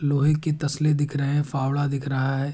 लोहे की तसले दिख रहे हैं। फावड़ा दिख रहा है।